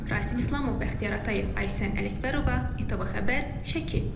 Rasim İslamov, Bəxtiyar Atayev, Aysən Ələkbərova, İTV Xəbər, Şəki.